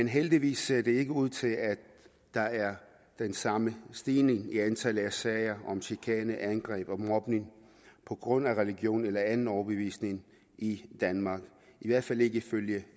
heldigvis ser det ikke ud til at der er den samme stigning i antallet af sager om chikane angreb og mobning på grund af religion eller anden overbevisning i danmark i hvert fald ikke ifølge